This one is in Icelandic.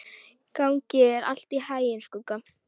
Gangi þér allt í haginn, Skugga.